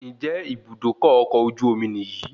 Ǹjẹ́ Ibùdókọ̀ ọkọ̀ ojú omi ní yìí?